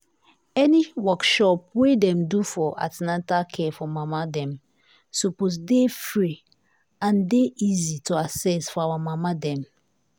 any workshop wey dem do for an ten atal care for mama dem suppose dey free and dey easy to access for our mama dem.